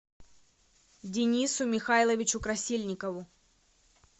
денису михайловичу красильникову